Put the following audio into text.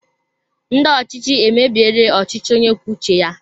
Ndị ọchịchị emebiela ọchịchị onye kwuo uche ya